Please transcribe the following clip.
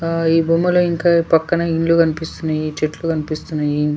ఆ ఈ బొమ్మలో ఇంకా పక్కన ఇండ్లు కనిపిస్తున్నయి చెట్లు కనిపిస్తున్నయి.